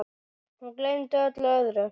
Hún gleymdi öllu öðru.